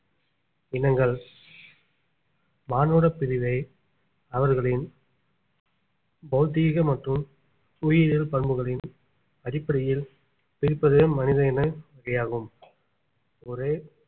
இனங்கள் மானுடப் பிரிவை அவர்களின் பௌதீக மற்றும் புவியியல் பண்புகளின் அடிப்படையில் பிரிப்பது மனித இன வகையாகும் ஒரு